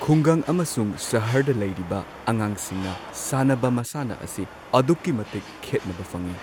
ꯈꯨꯡꯒꯪ ꯑꯃꯁꯨꯡ ꯁꯍꯔꯗ ꯂꯩꯔꯤꯕ ꯑꯉꯥꯡꯁꯤꯡꯅ ꯁꯥꯟꯅꯕ ꯃꯁꯥꯟꯅ ꯑꯁꯤ ꯑꯗꯨꯛꯀꯤ ꯃꯇꯤꯛ ꯈꯦꯠꯅꯕ ꯐꯪꯏ